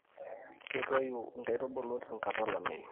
ketoyu inkaitubulu tenkata olameyu